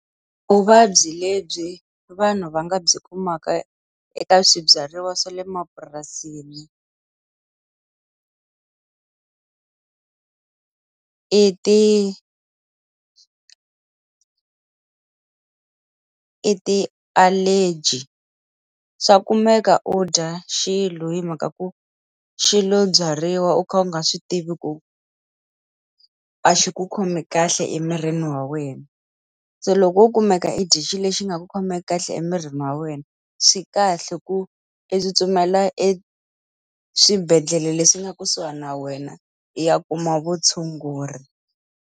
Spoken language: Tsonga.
Vuvabyi lebyi vanhu va nga byi kumaka eka swibyariwa swa le mapurasini i ti i ti-allergy. Swa kumeka u dya xilo hi mhaka ku xilo byariwa u kha u nga swi tivi ku a xi ku khomi kahle emirini wa wena. Se loko wo kumeka e dye xilo lexi nga ku khomeki kahle emirini wa wena, swi kahle ku i tsutsumela eswibedhlele leswi nga kusuhi na wena, i ya kuma vutshunguri.